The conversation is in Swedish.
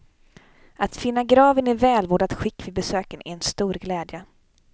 Att finna graven i välvårdat skick vid besöken är en stor glädje.